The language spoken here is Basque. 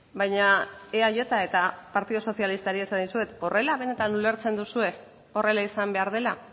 baina eaj eta partidu sozialistari esan dizuet horrela benetan ulertzen duzue horrela izan behar dela